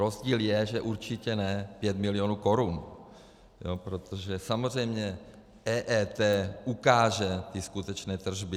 Rozdíl je, že určitě ne 5 milionů korun, protože samozřejmě EET ukáže ty skutečné tržby.